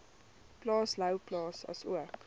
plaas louwplaas asook